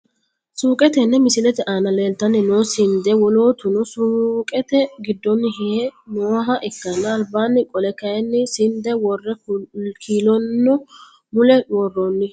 Suuqe tene misilete aana leeltani noo sinde wolootuno suuqete gidooni hihe nooha ikanna albaani qolle kayiini sinde wore kiilono mule worooni.